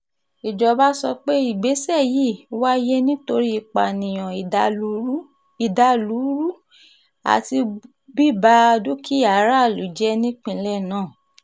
ìjọba sọ pé ìgbésẹ̀ yìí wáyé nítorí ìpànìyàn ìdàlúrú àti bùba dúkìá aráàlú jẹ́ nípínlẹ̀ náà